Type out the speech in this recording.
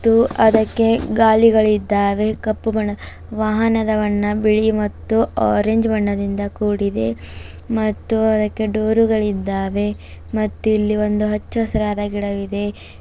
ಮತ್ತು ಅದಕ್ಕೆ ಗಾಲಿಗಳಿದ್ದಾವೆ ಕಪ್ಪು ಬಣ್ಣ ವಾಹನದ ಬಣ್ಣ ಬಿಳಿ ಮತ್ತು ಆರೆಂಜ್ ಬಣ್ಣದಿಂದ ಕೂಡಿದೆ ಮತ್ತು ಅದಕ್ಕೆ ಡೋರುಗಳಿದ್ದಾವೆ ಮತ್ತು ಇಲ್ಲಿ ಒಂದು ಹಚ್ಚಹಸಿರಾದ ಗಿಡವಿದೆ.